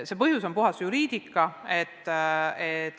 See põhjus on puhtalt juriidiline.